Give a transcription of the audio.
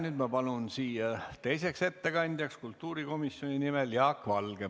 Nüüd ma palun siia teiseks ettekandjaks kultuurikomisjoni nimel Jaak Valge.